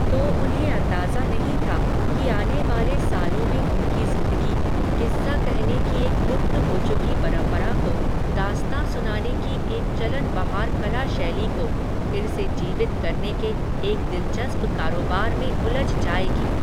तो उन्हें अंदाज़ा नहीं था, कि आने वाले सालों में उनकी ज़िंदगी, किस्सा कहने की एक लुप्त हो चुकी परम्परा को, दास्ताँ सुनाने की एक चलन बहार कला शैली को, फिर से जीवित करने के एक दिलचस्प कारोबार में उलझ जायेगी